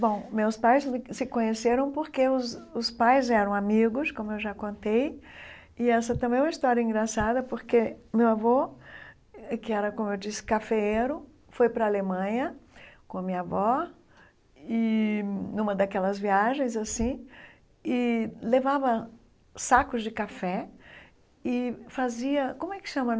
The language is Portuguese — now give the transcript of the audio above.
Bom, meus pais se conheceram porque os os pais eram amigos, como eu já contei, e essa também é uma história engraçada porque meu avô, que era, como eu disse, cafeeiro, foi para a Alemanha com a minha avó, e numa daquelas viagens assim, e levava sacos de café e fazia... como é que chama?